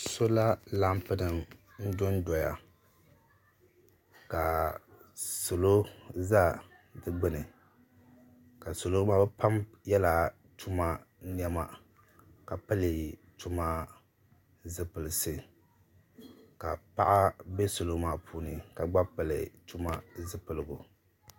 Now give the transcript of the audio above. Sɔla latinim n dondoya, ka salɔ ʒa di gbuni ka salɔ maa bɛ pam yela tumani nema . ka pili tuma ni zipilisi. ka paɣa be salɔ maa puuni ka gba pili tuma zipiligu